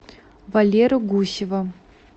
валеру гусева